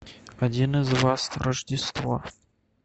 один из вас рождество